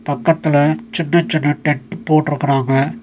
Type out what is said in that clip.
பக்கத்துல சின்ன சின்ன டென்ட் போட்ருக்கிறாங்க.